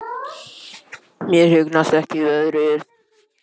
Mér hugnast ekki veðrið.